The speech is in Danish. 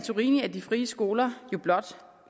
de frie skoler jo blot